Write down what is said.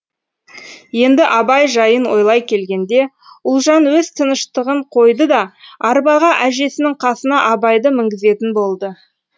енді абай жайын ойлай келгенде ұлжан өз тыныштығын қойды да арбаға әжесінің қасына абайды мінгізетін болды